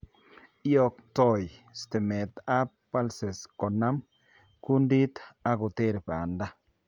Iyoktoo stimeet ab pulses konaam kundit akoter baanda